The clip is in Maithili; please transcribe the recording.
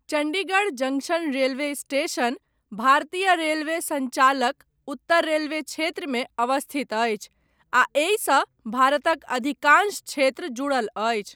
चण्डीगढ़ जंक्शन रेलवे स्टेशन, भारतीय रेलवे सञ्जालक, उत्तर रेलवे क्षेत्रमे अवस्थित अछि, आ एहिसँ भारतक अधिकांश क्षेत्र जुड़ल अछि।